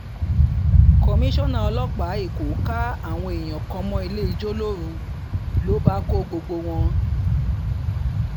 kọmíṣánná ọlọ́pàá èkó ká àwọn èèyàn kan mọ́ ilé-ijó lóru ló bá kọ́ gbogbo wọn